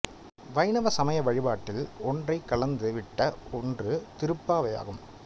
வைணவ சமய வழிபாட்டில் ஒன்றறக் கலந்து விட்ட ஒன்று திருப்பாவையாகும்